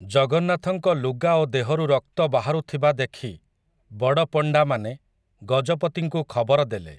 ଜଗନ୍ନାଥଙ୍କ ଲୁଗା ଓ ଦେହରୁ ରକ୍ତ ବାହାରୁଥିବା ଦେଖି, ବଡ଼ପଣ୍ଡାମାନେ, ଗଜପତିଙ୍କୁ ଖବର ଦେଲେ ।